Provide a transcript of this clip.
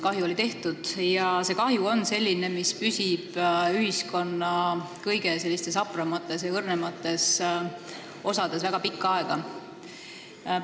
Kahju oli tehtud ja see kahju on selline, mis püsib ühiskonna kõige hapramates ja õrnemates osades väga pikka aega.